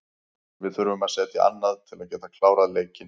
Við þurfum að setja annað til að geta klárað leikinn.